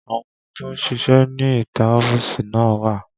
Àwọn tó ń ṣíṣe ní ìta ọ́fíìsì náà wà